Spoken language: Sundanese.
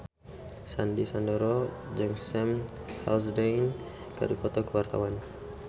Sandy Sandoro jeung Sam Hazeldine keur dipoto ku wartawan